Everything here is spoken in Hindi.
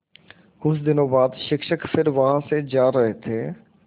कुछ दिनों बाद शिक्षक फिर वहाँ से जा रहे थे